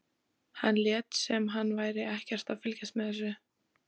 Hann lét sem hann væri ekkert að fylgjast með þessu.